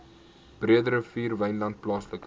breederivier wynland plaaslike